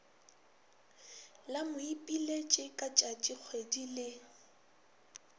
la moipiletši ka tšatšikgwedi le